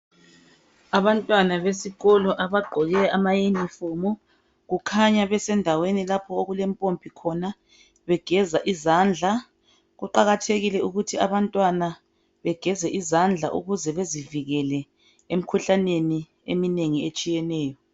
Abantwana besikolo abagqoke amayunifomu kukhanya besendaweni lapho okulempompi khona begeza izandla. Kuqakathekile ukuthi abantwana begeze izandla ukuze bezivikele emkhuhlaneni eminengi etshiyeneyo.